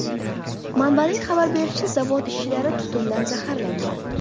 Manbaning xabar berishicha, zavod ishchilari tutundan zaxarlangan.